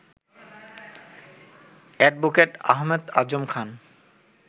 advocate Ahmed Azam Khan